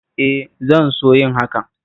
E, zan so yin hakan